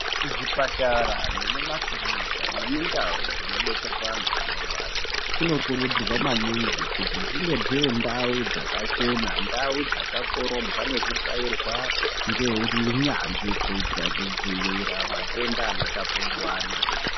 Kuzvipatara nemumakirinika nemundau dzinodetserwa antu anorwara, kunokurudzirwa maningi kuti dzinge dzirindau dzakachena, ndau dzakakorobwa nekutsvairwa ngeunyanzvi, kuita kudzivirira matenda anotapuriranwa.